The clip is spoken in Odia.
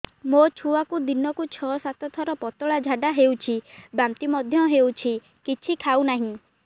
ମୋ ଛୁଆକୁ ଦିନକୁ ଛ ସାତ ଥର ପତଳା ଝାଡ଼ା ହେଉଛି ବାନ୍ତି ମଧ୍ୟ ହେଉଛି କିଛି ଖାଉ ନାହିଁ